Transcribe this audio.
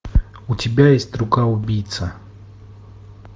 у тебя есть рука убийца